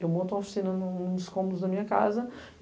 Eu monto uma oficina nos cômodos da minha casa.